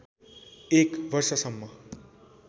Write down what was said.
एक वर्षसम्म